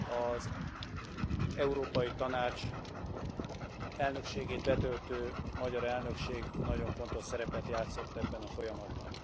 Az Európai Tanács elnökségét betöltő magyar elnökség nagyon fontos szerepet játszott ebben a folyamatban.